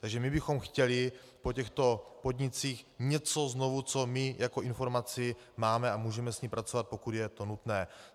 Takže my bychom chtěli po těchto podnicích něco znovu, co my jako informaci máme a můžeme s ní pracovat, pokud je to nutné.